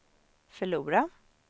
förlora